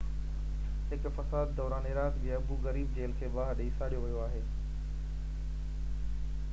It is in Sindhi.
هڪ فساد دوران عراق جي ابو غريب جيل کي باهه ڏئي ساڙيو ويو آهي